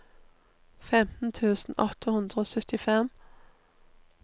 femten tusen åtte hundre og syttifem